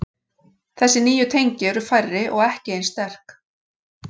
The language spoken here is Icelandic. Þessi nýju tengi eru færri og ekki eins sterk.